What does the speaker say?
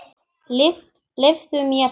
Leyfðu mér það,